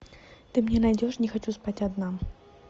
ты мне найдешь не хочу спать одна